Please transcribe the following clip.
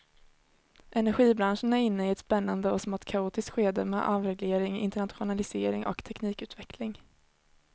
Energibranschen är inne i ett spännande och smått kaotiskt skede med avreglering, internationalisering och teknikutveckling.